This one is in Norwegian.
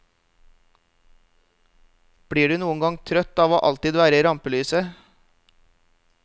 Blir du noen gang trøtt av å alltid være i rampelyset?